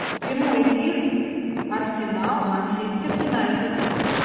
прямой эфир арсенал манчестер юнайтед